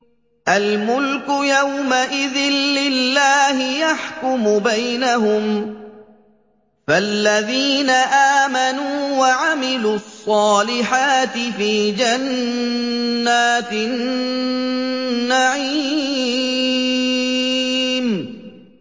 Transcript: الْمُلْكُ يَوْمَئِذٍ لِّلَّهِ يَحْكُمُ بَيْنَهُمْ ۚ فَالَّذِينَ آمَنُوا وَعَمِلُوا الصَّالِحَاتِ فِي جَنَّاتِ النَّعِيمِ